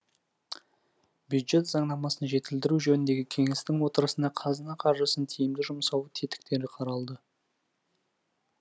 бюджет заңнамасын жетілдіру жөніндегі кеңестің отырысында қазына қаржысын тиімді жұмсау тетіктері қаралды